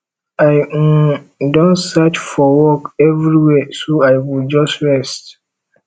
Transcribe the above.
i um don search for work everywhere so i go just rest